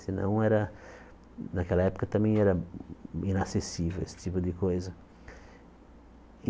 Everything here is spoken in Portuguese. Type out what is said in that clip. Senão, era naquela época, também era inacessível esse tipo de coisa.